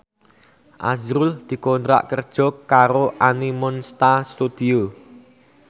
azrul dikontrak kerja karo Animonsta Studio